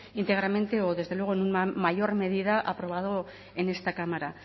íntegramente o desde luego en mayor medida aprobado en esta cámara